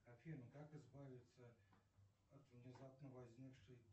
афина как избавиться от внезапно возникшей